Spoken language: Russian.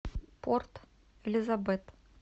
порт элизабет